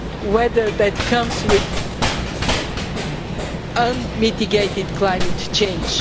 weather that comes with unmitigated climate change.